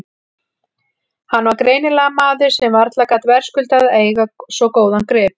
Hann var greinilega maður sem varla gat verðskuldað að eiga svo góðan grip.